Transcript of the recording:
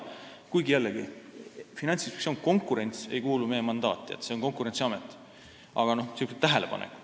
Kuid jällegi, see on lihtsalt tähelepanek, sest konkurents ei ole meie mandaat, see on Konkurentsiameti hallata.